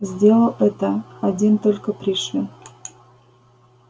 сделал это один только пришвин